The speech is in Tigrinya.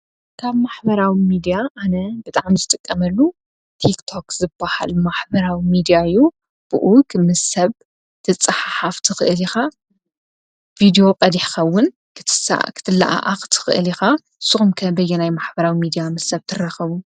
ካብ ማሕበራዊ ሚድያ ኣነ ብጣዕሚ ዝጥቀመሉ ቲክ ቶክ ዝባሃል ማሕበራዊ ሚድያ እዩ፡፡ ብኡ ትምሰጥ ክትፀሓሓፍ ትክእል ኢካ ቪድዮ ቀዲሕካ እውን ክትለኣኣክ ትክእል ኢካ ፡፡ ንስኩም ከ በየናይ ማሕበራዊ ሚድያ ምስ ሰብ ትራከቡ?